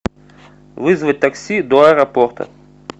вызвать такси до аэропорта